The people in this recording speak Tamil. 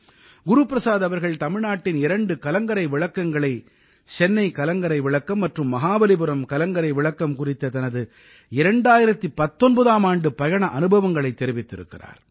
குரு பிரசாத் அவர்கள் தமிழ்நாட்டின் இரண்டு கலங்கரை விளக்கங்களை சென்னை கலங்கரை விளக்கம் மற்றும் மஹாபலிபுரம் கலங்கரை விளக்கம் குறித்த தனது 2019ஆம் ஆண்டு பயண அனுபவங்களைத் தெரிவித்திருக்கிறார்